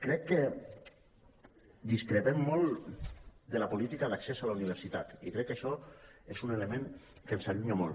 crec que discrepem molt de la política d’accés a la universitat i crec que això és un element que ens allunya molt